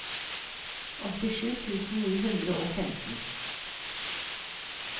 åttisju tusen ni hundre og femten